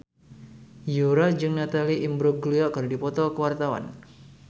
Yura jeung Natalie Imbruglia keur dipoto ku wartawan